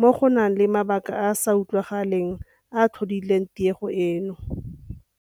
mo go nang le mabaka a a sa utlwagaleng a a tlhodileng tiego eno.